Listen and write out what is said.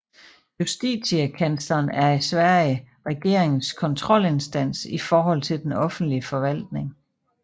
Justitiekansleren er i Sverige regeringens kontrolinstans i forhold til den offentlige forvaltning